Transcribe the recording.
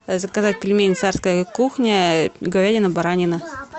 заказать пельмени царская кухня говядина баранина